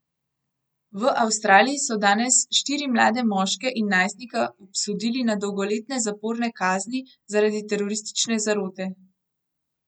V Avstraliji so danes štiri mlade moške in najstnika obsodili na dolgoletne zaporne kazni zaradi teroristične zarote.